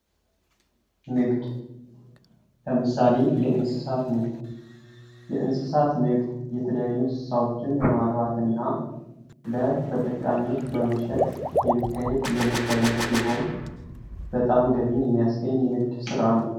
ንግድ ለምሳሌ የእንስሳት ንግድ:- የእንስሳት ንግድ የተለያዩ ስራዎችን በማፍራትና ለተጠቃሚዎች በመሸጥ የሚካሄድ የንግድ ዓይነት ሲሆን በጣም ገቢን የሚያስገኝ የንግድ ስራ ነው።